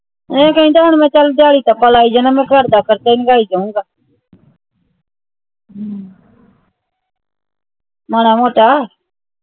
ਇਹ ਕਹਿੰਦਾ ਹੁਣ ਮੈਂ ਚਲ ਦਿਹਾੜੀ ਟੱਪਾ ਲਾਈ ਜਾਣਾ ਆ ਮੈਂ ਘਰ ਦਾ ਖਰਚਾ ਹੀ ਲੰਘਾਈ ਜਾਊਂਗਾ ਮਾੜਾ ਮੋਟਾ